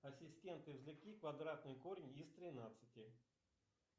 ассистент извлеки квадратный корень из тринадцати